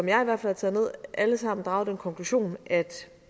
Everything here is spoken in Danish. jeg i hvert fald taget ned alle sammen draget den konklusion at